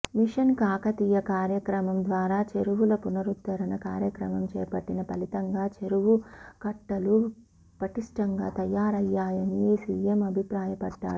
machine Kakatiya కార్యక్రమం ద్వారా చెరువుల పునరుద్ధరణ కార్యక్రమం చేపట్టిన ఫలితంగా చెరువు కట్టలు పటిష్టంగా తయారయ్యాయని సీఎం అభిప్రాయపడ్డారు